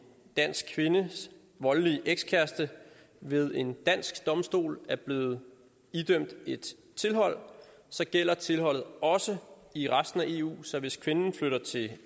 dansk kvindes voldelige ekskæreste ved en dansk domstol er blevet idømt et tilhold så gælder tilholdet også i resten af eu så hvis kvinden flytter til